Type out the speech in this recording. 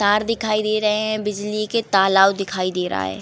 तार दिखाई दे रहे हैं बिजली के। तालाब दिखाई दे रहा है।